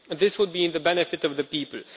this would be to the benefit of the people.